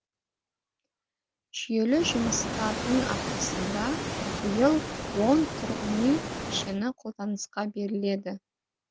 жүйелі жұмыстардың арқасында биыл он тұрғын үй кешені қолданысқа беріледі